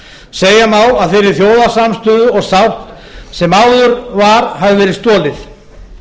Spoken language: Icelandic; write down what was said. segja má að þeirri þjóðarsamstöðu og sátt sem áður var hafi verið stolið